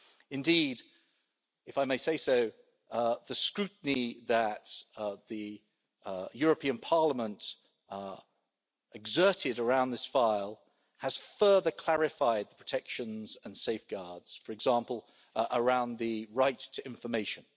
Indeed, if I may say so, the scrutiny that the European Parliament exerted around this file has further clarified the protections and safeguards, for example around the right to information.